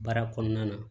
Baara kɔnɔna na